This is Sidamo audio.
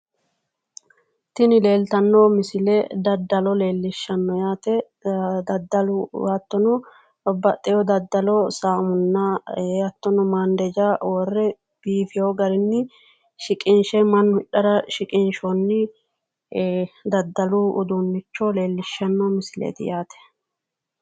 Tini leeltanno misile daddalo leellishanno yaate daddalu hattono babbaxxino daddalo saamunna hattono maandeja worre biifino garinni shiqinshe mannu hidhara shiqinshoonni daddalu uduunnicho leellishanno misileeti yaate